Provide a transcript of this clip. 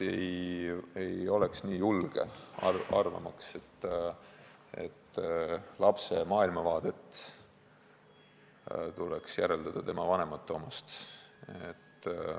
Mina kindlasti ei oleks nii julge arvama, et lapse maailmavaade tuleks järeldada tema vanemate omast.